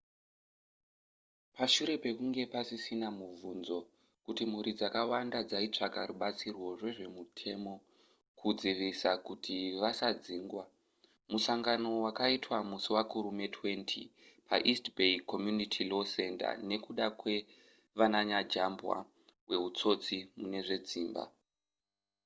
pashure pekunge pasisina mubvunzo kuti mhuri dzakawanda dzaitsvaka rubatsiro rwezvemutemo kudzivisa kuti vasadzingwa musangano wakaitwa musi wakurume 20 paeast bay community law center nekuda kwavananyajambwa wehutsotsi mune zvedzimba